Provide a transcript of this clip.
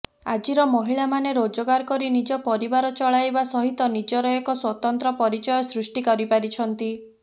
ଆଜିର ମହିଳାମାନେ ରୋଜଗାର କରି ନିଜ ପରିବାର ଚଳାଇବା ସହିତ ନିଜର ଏକ ସ୍ବତନ୍ତ୍ର ପରିଚୟ ସୃଷ୍ଟି କରିପାରିଛନ୍ତି